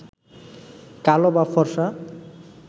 কালো বা ফর্সা